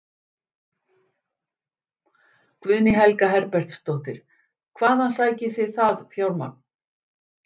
Guðný Helga Herbertsdóttir: Hvaðan sækið þið það fjármagn?